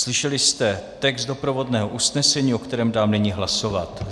Slyšeli jste text doprovodného usnesení, o kterém dám nyní hlasovat.